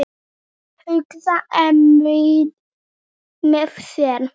hugsaði Emil með sér.